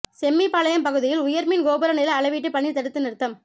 செம்மிபாளையம் பகுதியில் உயா்மின் கோபுர நில அளவீட்டுப் பணி தடுத்து நிறுத்தம்